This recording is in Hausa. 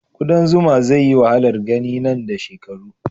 kudan zuma zai yi wahalar gani nan da shekaru